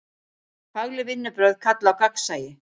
Fagleg vinnubrögð kalla á gagnsæi.